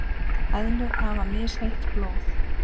Eðlur hafa misheitt blóð.